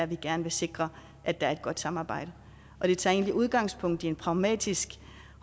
vi gerne vil sikre at der er et godt samarbejde og det tager egentlig udgangspunkt i en pragmatisk